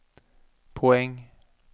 poäng